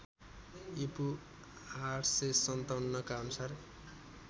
ईपू ८५७ का अनुसार